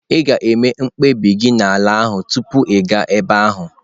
Ị ga-eme mkpebi gị n'ala ahụ tupu ị gaa ebe ahụ.